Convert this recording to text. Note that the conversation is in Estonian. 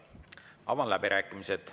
Avan läbirääkimised.